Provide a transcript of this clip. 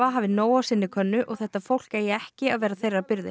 hafi nóg á sinni könnu og þetta fólk eigi ekki að vera þeirra byrði